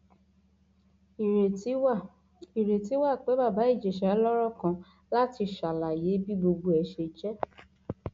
ìrètí wà ìrètí wà pé bàbá ìjẹsà lọrọ kan láti ṣàlàyé bí gbogbo ẹ ṣe jẹ